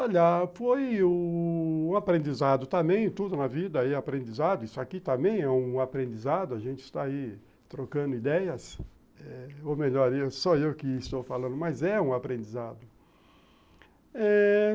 Olha, foi um aprendizado também, tudo na vida é aprendizado, isso aqui também é um aprendizado, a gente está aí trocando ideias eh ou melhor, sou eu que estou falando, mas é um aprendizado.